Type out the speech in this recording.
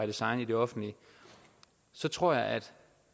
design i det offentlige så tror jeg at